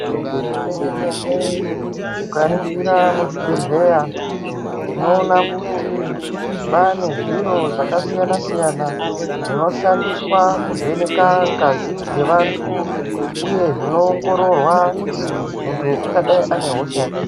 Zvemene-mene ukaringira muzvibhehleya tinoona kuti kwaanezviro zvakasiyana-siyana zvinoshandiswa kuvheneka ngazi dzevantu. Uye zvinoongororwa kuti muntu ungadai unehosha yakadini.